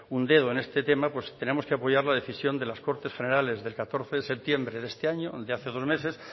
un dedo en este tema tenemos que apoyar la decisión de las cortes generales del catorce de septiembre de este año de hace dos meses